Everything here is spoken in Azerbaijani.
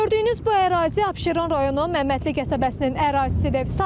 Gördüyünüz bu ərazi Abşeron rayonu Məmmədli qəsəbəsinin ərazisidir.